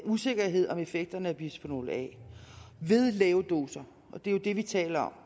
usikkerhed om effekterne af bisfenol a ved lave doser og det er jo det vi taler